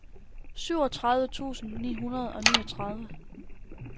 syvogtredive tusind ni hundrede og niogtredive